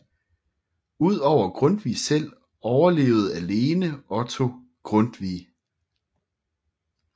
Ud over Grundtvig selv overlevede alene Otto Grundtvig